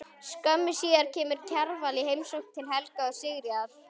Skömmu síðar kemur Kjarval í heimsókn til Helga og Sigríðar.